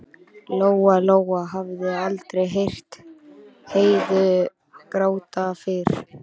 Lóa-Lóa hafði aldrei heyrt Heiðu gráta fyrr.